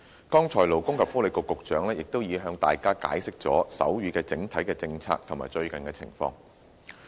剛才勞工及福利局局長亦已向大家解釋了手語的整體政策及最近情況。